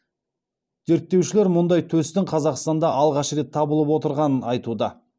зерттеушілер мұндай төстің қазақстанда алғаш рет табылып отырғанын айтуда